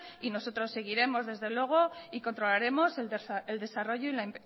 y nosotros seguiremos desde luego y controlaremos el desarrollo y la